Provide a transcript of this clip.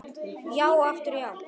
Já og aftur já.